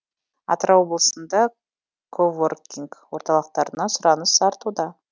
атырау облысында коворкинг орталықтарына сұраныс артуда